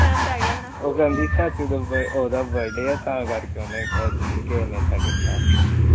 ਬਹਿਮ ਪੈ ਗਿਆ ਹੋਣਾ ਉਹ ਕਹਿੰਦੀ ਉਹਦਾ ਬਡੇ ਤਾ ਕਰਕੇ ਕਿਸੇ ਨੇ ਇਦਾ ਕੀਤਾ ਹੋਣਾ